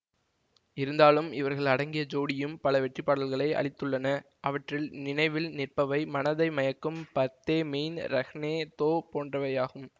இருந்தாலும் இவர்கள் அடங்கிய ஜோடியும் பல வெற்றிப்பாடல்களை அளித்துள்ளன அவற்றில் நினைவில் நிற்பவை மனதை மயக்கும் பர்தே மெய்ன் ரஹ்னே தோ போன்றவையாகும்